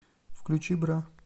включи бра